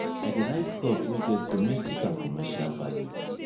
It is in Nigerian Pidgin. i dey like crop wey get domestic and commercial value